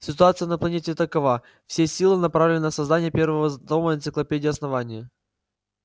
ситуация на планете такова все силы направлены на создание первого з тома энциклопедии основания